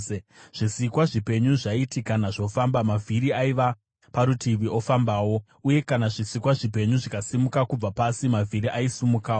Zvisikwa zvipenyu zvaiti kana zvofamba, mavhiri aiva parutivi ofambawo; uye kana zvisikwa zvipenyu zvikasimuka kubva pasi, mavhiri aisimukawo.